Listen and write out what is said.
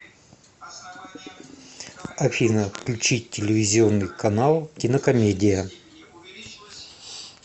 афина включить телевизионный канал кинокомедия